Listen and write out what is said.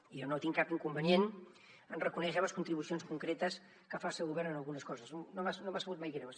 i jo no tinc cap inconvenient en reconèixer les contribucions concretes que faci el govern en algunes coses no m’ha sabut mai greu